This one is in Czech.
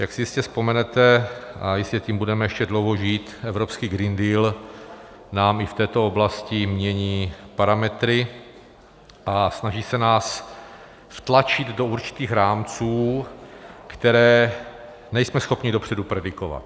Jak si jistě vzpomenete - a my tím budeme ještě dlouho žít - evropský Green Deal nám i v této oblasti mění parametry a snaží se nás vtlačit do určitých rámců, které nejsme schopni dopředu predikovat.